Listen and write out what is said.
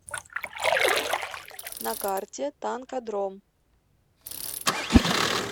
на карте танкодром